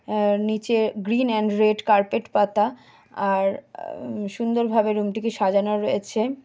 আর নিচে green and red carpet পাতা আর আ-ম সুন্দরভাবে রুম টিকে সাজানো রয়েছে।